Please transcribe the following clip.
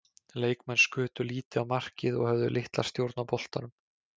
Leikmenn skutu lítið á markið og höfðu litla stjórn á boltanum.